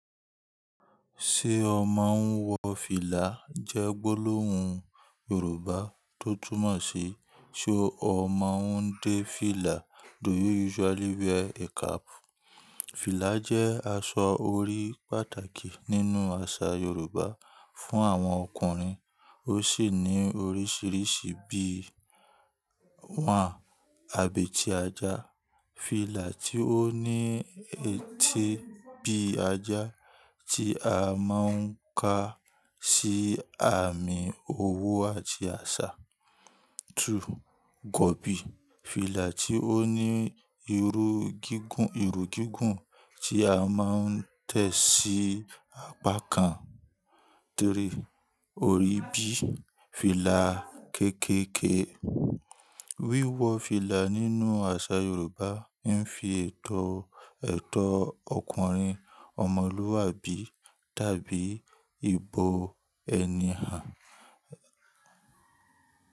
Ṣé o máa ń wọ fìlà jẹ́ gbólóhùn Yorùbá tó túmọ̀ sí ṣe o máa ń dé fìlà? Do you usually wear a cap? Fìlà jẹ́ aṣọ orí pàtàkì nínú àṣà Yorùbá fún àwọn ọkùnrin, ó sì ní oríṣìíríṣìí bí i; wọ́n àbí ti ajá, fìlà tí ó ní etí bí i ajá tí a máa ń ka sí àmì owó àti àṣà. 2. Gọ̀bí, fìlà tí ó ní irú gígùn, irú gígùn tí a máa ń tẹ̀ sí apá kan. 3. Orí bí i, fìlà kéékèèké. Wíwọ̀ fìlà nínú àṣà Yorùbá ń fi ètò, ètò ọkùnrin ọmọlúwàbí dàbí ìbò ẹni hàn.